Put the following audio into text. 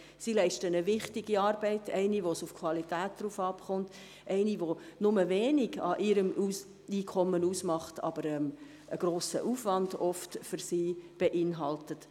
Sie leisten eine wichtige Arbeit – eine, bei der es auf die Qualität ankommt, die wenig bei ihrem Einkommen ausmacht, aber für sie oft einen grossen Aufwand mit sich bringt.